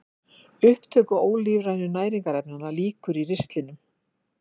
Upptöku ólífrænu næringarefnanna lýkur í ristlinum.